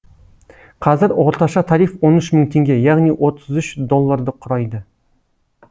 қазір орташа тариф он үш мың теңге яғни отыз үш долларды құрайды